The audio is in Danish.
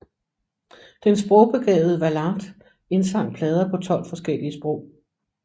Den sprogbegavede Valente indsang plader på 12 forskellige sprog